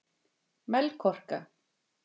Melkorka